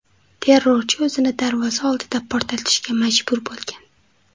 Terrorchi o‘zini darvoza oldida portlatishga majbur bo‘lgan.